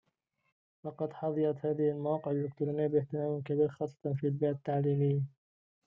لقد حظيت هذه المواقع الإلكترونية باهتمامٍ كبير خاصةً في البيئة التعليمية